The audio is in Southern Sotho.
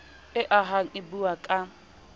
e ahang e buang ka